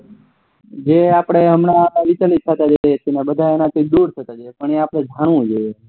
જે આપડે હમણાં વિચલિત થતા જાય છે અને બધાને એના થી દુર થતા જાય પણ એ આપને જાણવું જોઈએ